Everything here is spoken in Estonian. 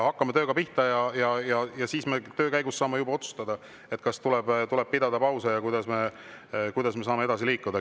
Hakkame tööga pihta ja siis töö käigus saame juba otsustada, kas tuleb pidada pause ja kuidas me saame edasi liikuda.